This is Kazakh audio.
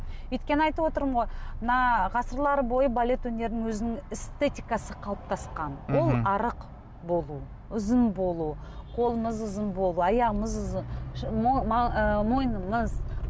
өйткені айтып отырмын ғой мына ғасырлар бойы балет өнерінің өзінің эстетикасы қалыптасқан ол арық болу ұзын болу қолымыз ұзын болу аяғымыз ы мойнымыз